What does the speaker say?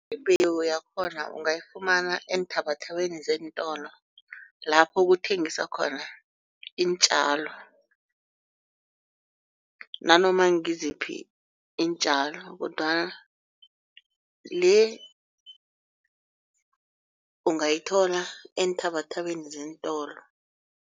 Imbewu yakhona ungayifumana eenthabathabeni zeentolo lapho kuthengiswa khona iintjalo. Nanoma ngiziphi iintjalo kodwana le ungayithola eenthabathabeni zeentolo.